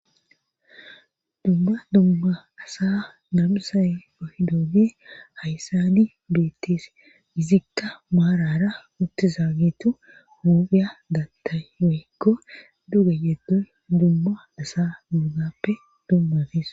Dumma dumma asa nabisay ohi dooge hayssani beettis gizikka maarara uttiza gitu huphiya dattay woyekko duge yeddoy dumma dasa dugappe dummafis.